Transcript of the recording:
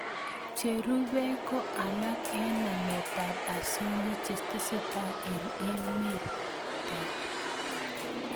Cherubei ko alak eng nametab osoya che tesetai eng emetanyo